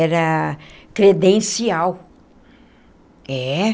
Era credencial, é.